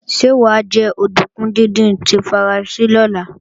Ṣé wà á jẹ òdùnkún díndín tí Faransé lọ́la?